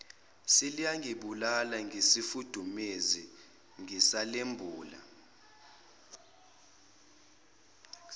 seliyangibulala ngesifudumezi ngisalembula